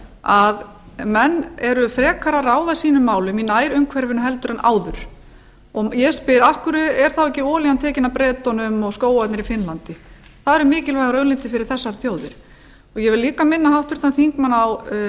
að menn eru frekar að ráða sínum málum í nærumhverfinu heldur en áður ég spyr af hverju er þá olían ekki tekin af bretum og skógarnir í finnlandi það eru mikilvægar auðlindir fyrir þessar þjóðir ég vil líka minna háttvirtan þingmann á